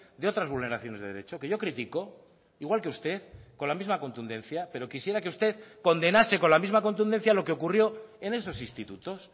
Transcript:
de otras vulneraciones de derecho que yo critico igual que usted con la misma contundencia pero quisiera que usted condenase con la misma contundencia lo que ocurrió en esos institutos